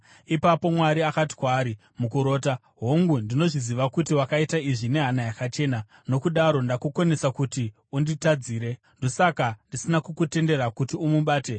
Ipapo Mwari akati kwaari mukurota, “Hongu, ndinozviziva kuti wakaita izvi nehana yakachena, nokudaro ndakukonesa kuti unditadzire. Ndokusaka ndisina kukutendera kuti umubate.